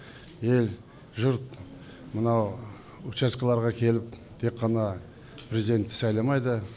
ел жұрт мынау учаскіларға келіп тек қана президент сайламайды